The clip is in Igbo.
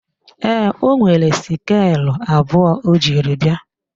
Ee, ọ nwere skeelụ abụọ o jiri bịa